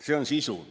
See on sisu.